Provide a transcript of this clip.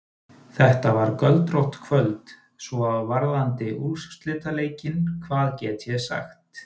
Þetta var göldrótt kvöld, Svo varðandi úrslitaleikinn, hvað get ég sagt?